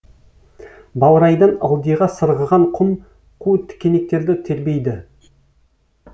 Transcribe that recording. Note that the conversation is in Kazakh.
баурайдан ылдиға сырғыған кұм қу тікенектерді тербейді